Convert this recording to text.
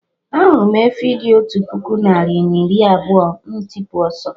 Ahụrụ m efi dị otú puku narị na iri abụọ, m tipu ọsọ